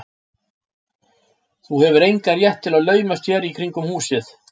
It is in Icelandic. Þú hefur engan rétt til að laumast hér í kringum húsið.